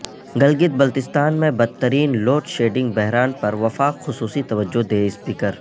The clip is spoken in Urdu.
گلگت بلتستان میں بدترین لوڈشیڈنگ بحران پر وفاق خصوصی توجہ دے سپیکر